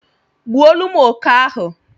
gbuolum oke ahu